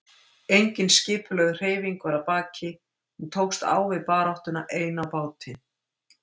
Engin skipulögð hreyfing var að baki, hún tókst á við baráttuna ein á báti.